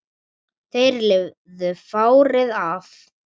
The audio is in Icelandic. Þeir lifðu fárið af